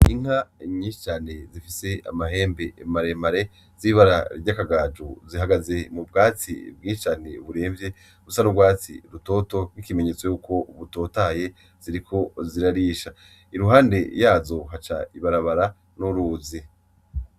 Inka nyinshi cane zifise amahembe maremare z'ibara ry'agakaju zihagaze mu bwatsi bwinshi cane buremvye busa n'urwatsi rutoto nk'ikimenyetso yuko butotahaye ziriko zirarisha. Iruhande yazo haca ibarabara, n'uruzi.